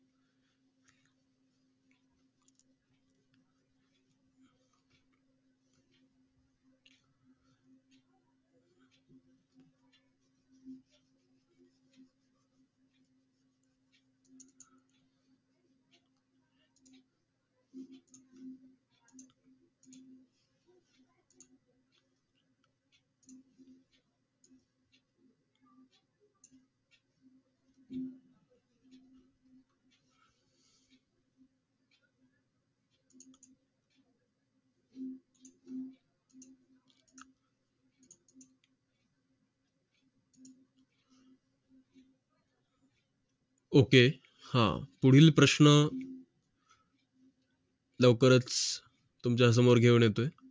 ok हां पुढील प्रश्न लवकरच तुमच्यासमोर घेऊन येतोय